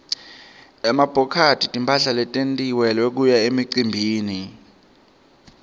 emabhokathi timphahla letentiwele kuya emicimbini